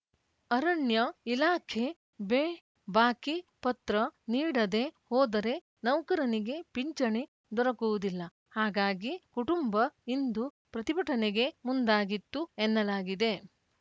ಅರಣ್ಯ ಇಲಾಖೆ ಬೇ ಬಾಕಿ ಪತ್ರ ನೀಡದೆ ಹೋದರೆ ನೌಕರನಿಗೆ ಪಿಂಚಣಿ ದೊರಕುವುದಿಲ್ಲ ಹಾಗಾಗಿ ಕುಟುಂಬ ಇಂದು ಪ್ರತಿಭಟನೆಗೆ ಮುಂದಾಗಿತ್ತು ಎನ್ನಲಾಗಿದೆ